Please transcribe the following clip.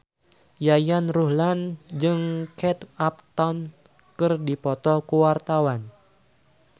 Yayan Ruhlan jeung Kate Upton keur dipoto ku wartawan